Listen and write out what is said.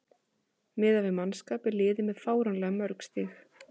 Miðað við mannskap er liðið með fáránlega mörg stig.